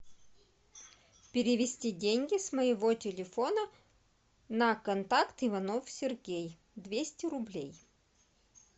перевести деньги с моего телефона на контакт иванов сергей двести рублей